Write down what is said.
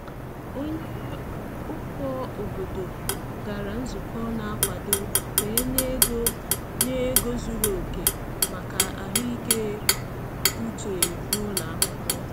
Onye ụkọ obodo gara nzukọ na-akwado ka e nye ego nye ego zuru oke maka ahụike uche n’ụlọ akwụkwọ.